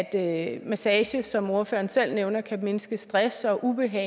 at massage som ordføreren selv nævner kan mindske stress og ubehag